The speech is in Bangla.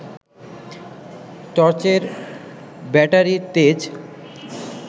টর্চের ব্যাটারির তেজ